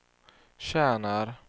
tjänar